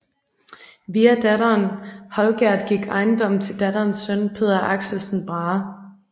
Via datteren Holgerd gik ejendommen til datterens søn Peder Axelsen Brahe